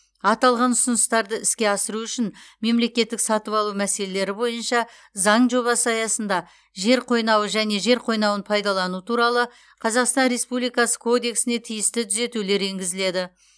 аталған ұсыныстарды іске асыру үшін мемлекеттік сатып алу мәселелері бойынша заң жобасы аясында жер қойнауы және жер қойнауын пайдалану туралы қазақстан республикасы кодексіне тиісті түзетулер енгізіледі